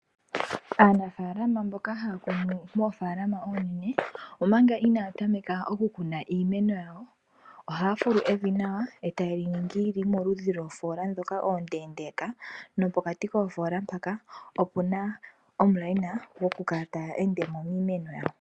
Aanafalama mboka haya kunu moofalama oonene omanga inaya tameka oku kuna iimeno yawo. Ohaya fulu evi nawa etaya li ningi lyi kale moludhi lwoofoola ndhoka oondendeka nopokati koofola mpoka opuna omukweyo goku kala taya ende miimeno yawo.